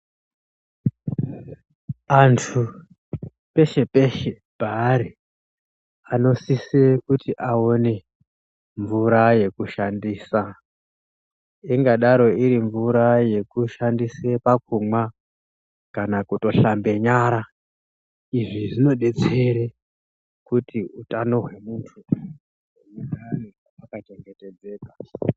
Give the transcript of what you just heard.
Antu peshe peshe paari anosise kuti aone mvura yekushandisa. Ingadaro iri mvura yekushandise pakumwa kana kutoshambe nyara. Izvi zvinodetsere kuti utano hwemuntu hugare hwaka chengetedzeka.